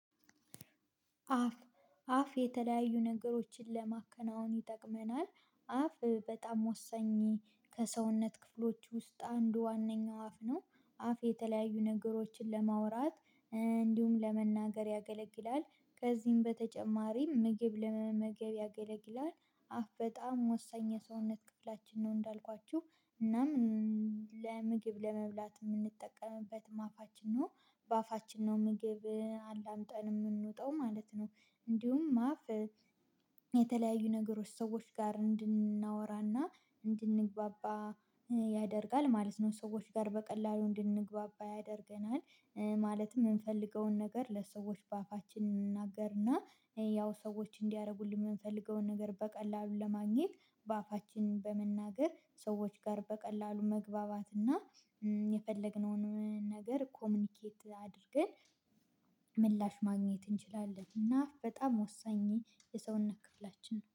አፍ አፍ የተለያዩ ነገሮችን ለማከናወን ይጠቅመናል አፍ በጣም ወሳኝ ከሰውነት ክፍሎች ውስጥ አንዱ ዋናው አፍ ነው አፍ የተለያዩ ነገሮችን ለማውራት እንዲሁም ለመናገር ያገለግላል ከዚህም በተጨማሪም ምግብ ለመመገብ ያገለግላል አፍ በጣም ወሳኝ የሰውነት ክፍላችን ነው እንዳልኳችሁ እናም ለምግብ ለመብላት የምንጠቀምበት አፋችን ነው። በአፋችን ነው ምግብን አላምጠን የምንውጠው ማለት ነው እንዲሁም አፍ የተለያዩ ነገሮች ሰዎች ጋር እንድናወራና እንድንግባባ ያደርጋል ማለት ነው ሰዎች ጋር በቀላሉ እንድንግባባ ያደርገናል ማለትም የምንፈልገውን ነገር ለሰዎች በአፋችን እንናገርና ያው ሰዎች እንዲያደርጉልን የምንፈልገውን ነገር በቀላሉ ለማግኘት በአፋችን በመናገር ሰዎች ጋር በቀላሉ መግባባትና የፈለግነውን ነገር ኮሙኒኬት አድርገን ምላሽ ማግኘት እንችላለን እና በጣም ወሳኝ የሰውነት ክፍላችን